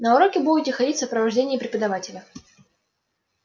на уроки будете ходить в сопровождении преподавателя